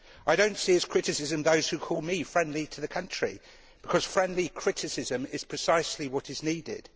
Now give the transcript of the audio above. I do not see as criticism the words of those who call me friendly to the country, because friendly criticism is precisely what is needed.